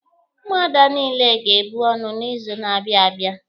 Ndị Ụmụada niile ga-ebu ọnụ n'izu na-abịa abịa.